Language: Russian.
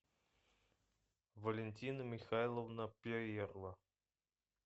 валентина михайловна перерва